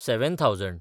seven thousand